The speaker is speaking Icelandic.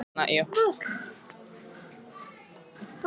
Hún finnur fyrir ólgu í maganum.